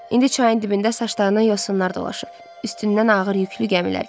İndi çayın dibində saçlarından yosunlar dolaşıb, üstündən ağır yüklü gəmilər keçir.